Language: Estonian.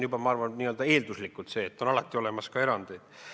Ma arvan, juba eelduslikult on nii, et alati on olemas ka erandeid.